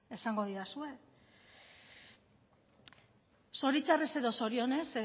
esango didazue zoritxarrez edo zorionez